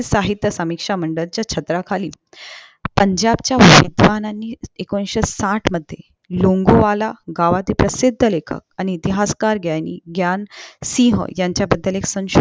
साहित्य संमिश्र मंडळाच्या छत्राखाली पंजाबच्या विद्वानांनी एकोणीशे साठ मध्ये लोंगोवाला गावातील प्रसिद्ध लेखन आणि इतिहासकार ग्यानी ग्यानसिहांच्या बद्दल ऐक संशोधन